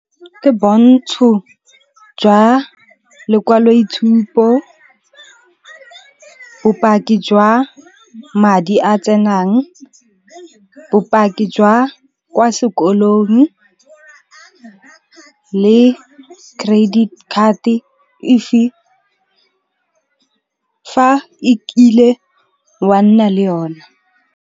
Ke bontsho jwa lekwaloitshupo, bopaki jwa madi a tsenang, bopaki jwa kwa sekolong le credit card fa ekile wa nna le yona.